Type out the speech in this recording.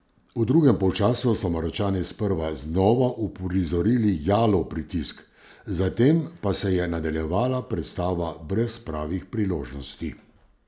V drugem polčasu so Maročani sprva znova uprizorili jalov pritisk, zatem pa se je nadaljevala predstava brez pravih priložnosti.